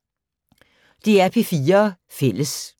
DR P4 Fælles